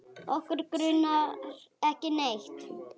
Okkur grunar ekki neitt.